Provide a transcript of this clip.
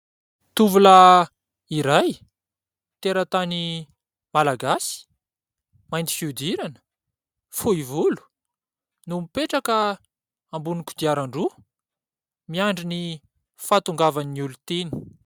Tovolahy iray ! Teratany malagasy ! Mainty fiodirana ! Fohy volo ! No mipetraka ! Ambonin'ny kodiaran-droa miandry ny fahatongavan'ny olon-tiany.